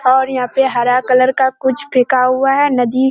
और यहाँ पे हरा कलर का कुछ फेंका हुआ है। नदी --